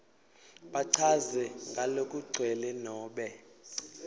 bachaze ngalokugcwele nobe